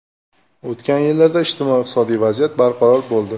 O‘tgan yillarda ijtimoiy-iqtisodiy vaziyat barqaror bo‘ldi.